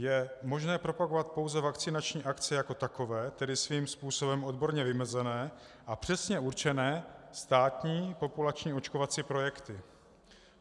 Je možné propagovat pouze vakcinační akce jako takové, tedy svým způsobem odborně vymezené a přesně určené státní populační očkovací projekty.